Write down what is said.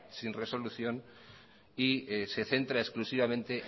sin resolución y se centra exclusivamente